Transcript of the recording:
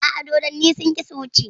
A'a, dodonni sun ƙi su wuce.